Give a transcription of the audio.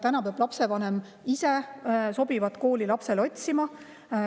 Täna peab lapsevanem ise lapsele sobivat kooli otsima.